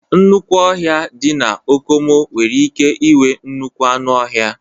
Nnukwu ọhia dị na Okomu nwere ike inwee nnukwu anụ ọhịa